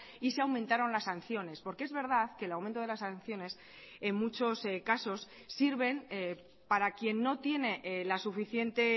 y se aumentaron las sanciones porque es verdad que el aumento de las sanciones en muchos casos sirven para quien no tiene la suficiente